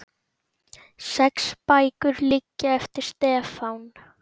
Sex bækur liggja eftir Stefán